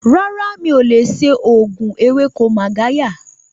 Rárá, mi ò lè ṣe òògùn ewéko Magarya